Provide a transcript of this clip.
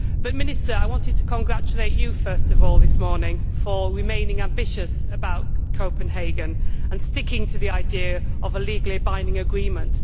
But I want to congratulate the minister first of all this morning for remaining ambitious about Copenhagen and sticking to the idea of a legally binding agreement.